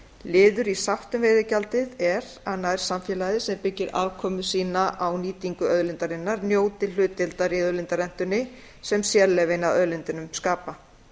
liður í sátt um veiðigjaldið er að nærsamfélagið sem byggir afkomu sína á nýtingu auðlindarinnar njóti hlutdeildar í auðlindarentunni sem sérleyfin að auðlindunum skapa